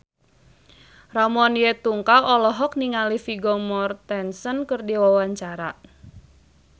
Ramon T. Yungka olohok ningali Vigo Mortensen keur diwawancara